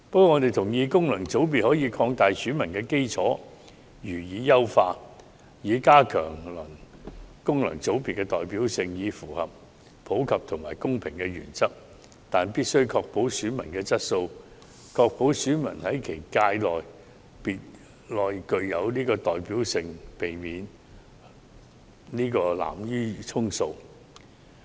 我們同意可以擴大及優化功能界別選民基礎，以加強功能界別的代表性，符合普及和公平的原則，但必須確保選民質素，以及確保選民在其界別內有代表性，避免濫竽充數。